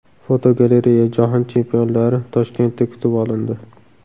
Fotogalereya: Jahon chempionlari Toshkentda kutib olindi.